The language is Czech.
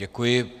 Děkuji.